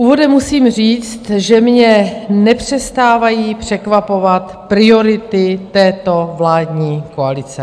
Úvodem musím říct, že mě nepřestávají překvapovat priority této vládní koalice.